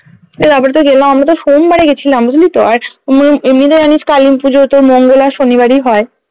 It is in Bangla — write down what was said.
এই এবারতো গেলাম আমরাতো সোমবারে গেছিলাম বুঝলি তো আর এমনিতে জানিস কালিপুজোতো মঙ্গল আর শনিবারেই হয়